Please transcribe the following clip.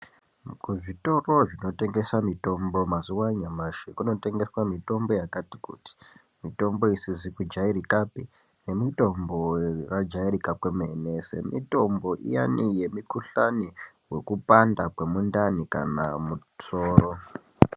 Kuzvitoro zvinotengeswe mitombo mazuwa anyamashi kunotengeswe mitombo yakati kuti mitombo isizi kujairikapi nemitombo yakajairika kwemene semitombo iyani yemukhuhlani wekupanda kwemundani kana musoro.